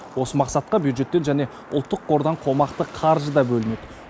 осы мақсатқа бюджеттен және ұлттық қордан қомақты қаржы да бөлінеді